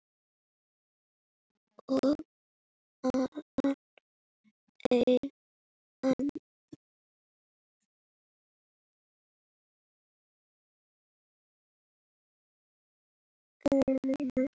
Og enn aðrir um þá.